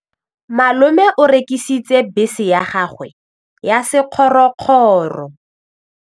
Malome o rekisitse bese ya gagwe ya sekgorokgoro.